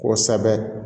Kosɛbɛ